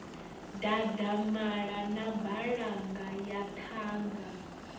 dadamala na balaga ya ṱhanga